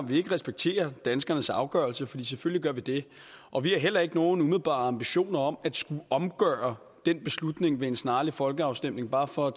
vi ikke respekterer danskernes afgørelse for selvfølgelig gør vi det og vi har heller ikke nogen umiddelbare ambitioner om at skulle omgøre den beslutning ved en snarlig folkeafstemning bare for at